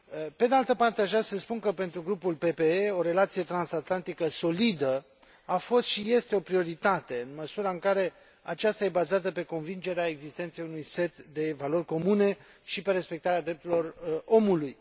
Pe de altă parte, aș vrea să spun că, pentru grupul PPE, o relație transatlantică solidă a fost și este o prioritate, în măsura în care aceasta este bazată pe convingerea existenței unui set de valori comune și pe respectarea drepturilor omului.